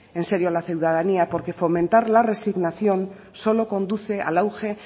en serio la ciudadanía porque fomentar la resignación solo conduce al auge